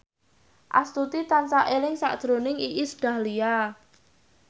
Astuti tansah eling sakjroning Iis Dahlia